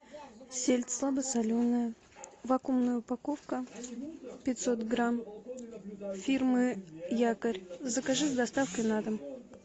сельдь слабосоленая вакуумная упаковка пятьсот грамм фирмы якорь закажи с доставкой на дом